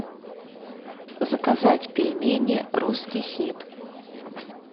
заказать пельмени русский хит